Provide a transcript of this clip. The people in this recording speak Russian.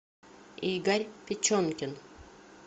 игорь печенкин